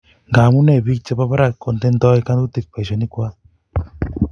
ngamunee biik chebo barak kontenoi ngatutik boishonikwak?